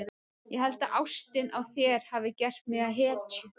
Ég held að ástin á þér hafi gert mig að hetju.